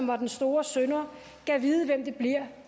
var den store synder gad vide hvem det bliver